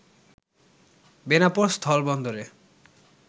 Benapole স্থলবন্দরে